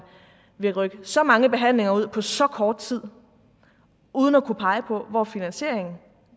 vil rykke så mange behandlinger ud på så kort tid uden at kunne pege på hvor finansieringen